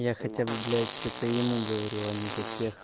я хотя бы блять это ему говорю а не за тех